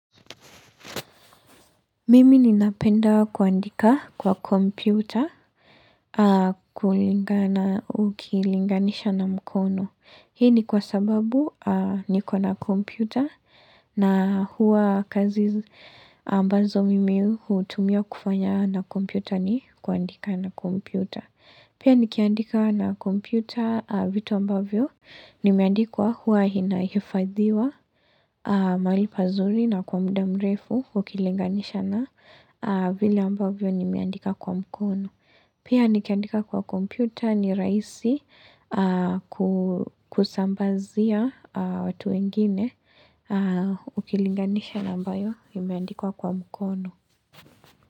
Mimi ninapendawa kuandika kwa kompyuta kulingana ukilinganisha na mkono. Hii ni kwa sababu ni kwa na kompyuta na huwa kazi ambazo mimi hutumia kufanya na kompyuta ni kuandika na kompyuta. Pia nikiandika na kompyuta vitu ambavyo nimeandikiwa huwa hinaifadhiwa mali pazuri na kwa mda mrefu ukilinganisha na vile ambavyo nimiandika kwa mkono. Pia nikiandika kwa kompyuta ni raisi kusambazia watu wengine ukilinganisha nambayo nimiandikwa kwa mkono.